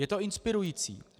Je to inspirující.